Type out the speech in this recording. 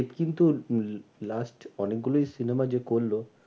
কিন্তু last অনেকগুলোই cinema যে করলো,